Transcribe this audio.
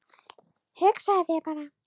Hugsaðu þér bara.